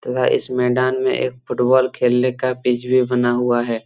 तथा इस मैदान में एक फुटबॉल खेलने का पिच भी बना हुआ है।